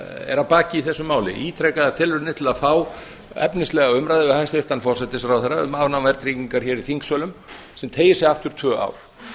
er að baki þessu máli ítrekaðar tilraunir til að fá efnislega umræðu við hæstvirtan forsætisráðherra um afnám verðtryggingar hér í þingsölum sem teygir sig aftur um tvö ár